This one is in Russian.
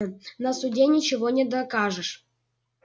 на суде ничего не докажешь